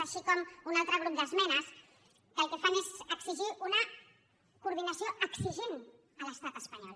així com un altre grup d’esmenes que el que fan és exigir una coordinació exigent a l’estat espanyol